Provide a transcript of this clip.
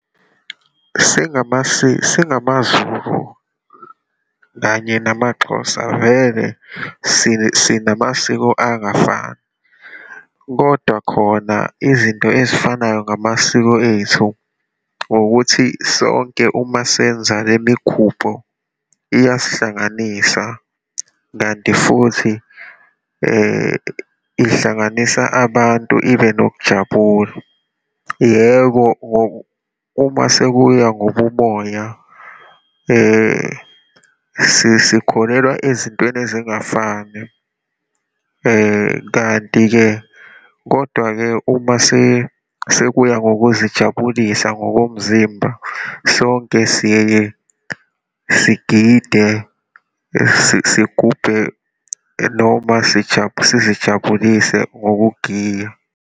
SingamaZulu kanye namaXhosa, vele sinamasiko angafani, kodwa khona izinto ezifanayo ngamasiko ethu, ukuthi sonke uma senza le migubho, iyasihlanganisa kanti futhi ihlanganisa abantu, ibe nokujabula. Yebo, uma sekuya ngobumoya, sikholelwa ezintweni ezingafani. Kanti-ke, kodwa-ke uma sekuya ngokuzijabulisa ngokomzimba, sonke siyeye sigide, sigubhe noma sizijabulise ngokugiya.